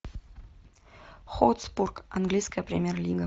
хотспур английская премьер лига